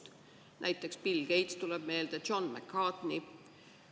Tuleb meelde näiteks Bill Gates, ka John McCarthy.